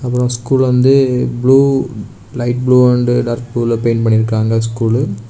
அப்புறம் ஸ்கூல் வந்து blue light blue and dark ப்ளூல பெயிண்ட் பண்ணி இருக்காங்க ஸ்கூலு .